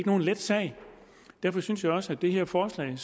nogen let sag derfor synes jeg også at det her forslag